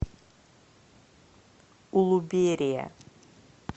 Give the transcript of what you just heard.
улуберия